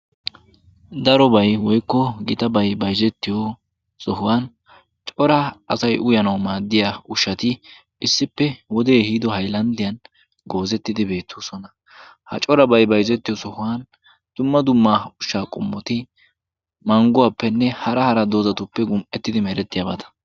Darobay woykko gitabay bayzettiyo sohuwan cora asay uyanawu maaddiya ushshati issippe wodee ehiido haylanddiyan goozettidi beettoosona. Ha corabay bayzzettiyo sohuwan dumma dumma ushsha qummoti mangguwaappenne hara hara doozatuppe gum'ettidi meerettiyaabaata.